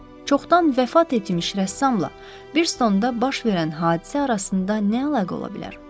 Çoxdan vəfat etmiş rəssamla Biristonda baş verən hadisə arasında nə əlaqə ola bilər?